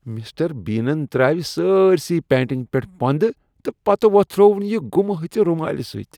Mister بینن ترٛاوِ سٲرِسٕے پینٹِنگہِ پیٚٹھ پۄندٕ تہٕ پتہٕ ووٚتھرووُن یہِ گُمہٕ ۂژٕ رُمالہِ سٕتۍ۔